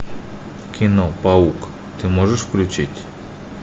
кино паук ты можешь включить